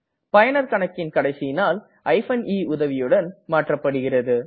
பயனரின் கணக்கின் கடைசி நாள் eன் உதவியுடன் மாற்றப்படுகிறது